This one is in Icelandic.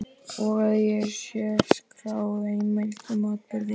Og að til sé skráð heimild um atburðinn.